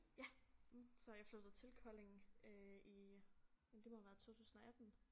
Ja så jeg flyttede til Kolding øh i ja det må have været 2018